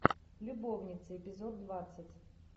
любовницы эпизод двадцать